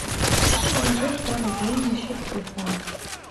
положи сто рублей на счет телефона